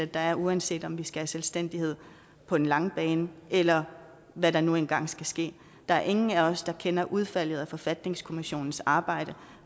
der er uanset om vi skal have selvstændighed på den lange bane eller hvad der nu engang skal ske der er ingen af os der kender udfaldet af forfatningskommissionens arbejde